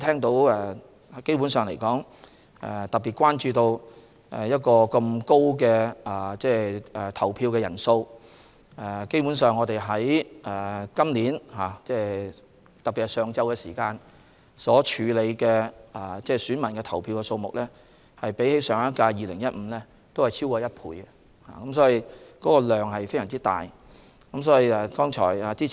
大家特別關注今次投票人數十分高，在投票日上午時段所處理的選民人數比上屆2015年同一時段多逾一倍，工作量非常大。